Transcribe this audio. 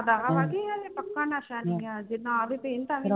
ਪੱਕਾ ਨਸ਼ਾ ਨੀ ਜੇ ਨਾ ਵੀ ਪੀਣ ਤਾ ਵੀ